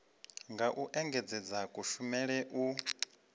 nga u engedzedza kushumele u